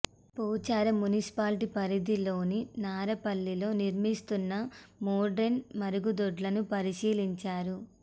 Pocharam municipality పరిధిలోని నారపల్లిలో నిర్మిస్తున్న మోడ్రన్ మరుగుదొడ్లను పరిశీలిం చారు